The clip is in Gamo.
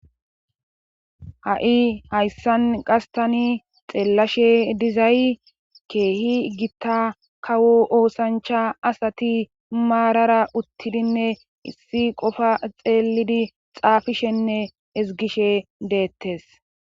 ha7i hayssan qastani xeellashe dizay keehi gitta kawo oosancha asati maarara uttidinne issi qofa xeelidi xaafishenne ezgishe deettes